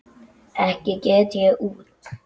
Ekki get ég út